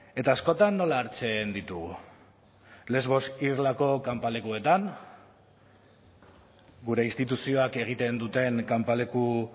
eta askotan nola hartzen ditugu lesbos irlako kanpalekuetan gure instituzioak egiten duten kanpaleku